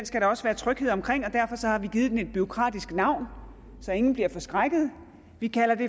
skal der også være tryghed omkring og derfor har vi givet den et bureaukratisk navn så ingen bliver forskrækket vi kalder den